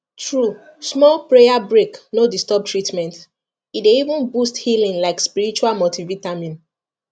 true small prayer break no disturb treatment e dey even boost healing like spiritual multivitamin